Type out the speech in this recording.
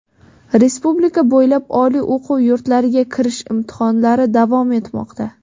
Respublika bo‘ylab oliy o‘quv yurtlariga kirish imtihonlari davom etmoqda.